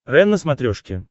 рен на смотрешке